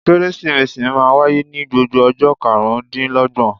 Kérésìmesì máa ń wáyé ní gbogbo ọjọ́ karùn-ún dín l'ọ́gbọ̀n.